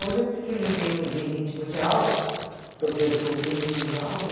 Hoje é porque diminuí bem o ritmo de aula, dou dou bem menos aula.